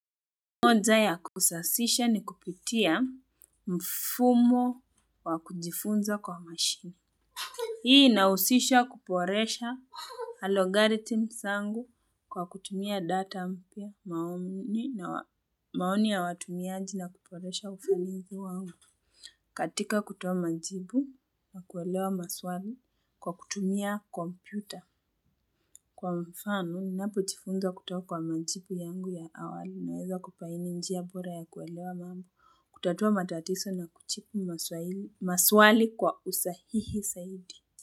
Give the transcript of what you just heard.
Moja ya kusasisha ni kupitia mfumo wa kujifunza kwa machine. Hii inahusisha kuboresha alogaritim zangu kwa kutumia data mpya maoni na maoni ya watumiaji na kuboresha ufanisi wangu. Katika kutoa majibu na kuelewa maswali kwa kutumia kompyuta. Kwa mfano, ninapo jifunza kutoka majibu yangu ya awali naweza kubaini njia bora ya kuelewa mambo, kutatua matatizo na kujibu maswali kwa usahihi zaidi.